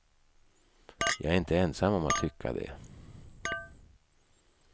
Jag är inte ensam om att tycka det.